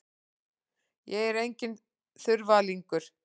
Ég er enginn þurfalingur.